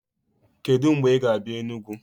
Kedụ mgbe ị ga-abịa Enugwu?